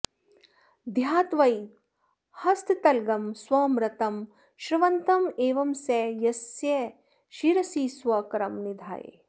ध्यात्वैव हस्ततलगं स्वमृतं स्रवन्तं एवं स यस्य शिरसि स्वकरं निधाय